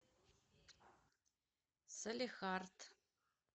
салехард